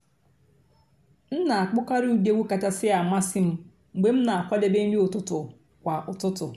m nà-àkpọ́kàrị́ ụ́dị́ ègwú kàchàsị́ àmásị́ m mg̀bé m nà-àkwàdébé nrí ụ́tụtụ́ kwà ụ́tụtụ́.